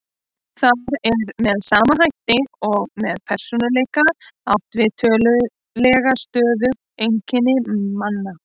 Þar er með sama hætti og með persónuleika átt við tiltölulega stöðug einkenni manna.